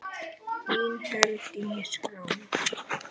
Þín Herdís Rós.